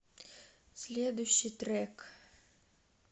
следующий трек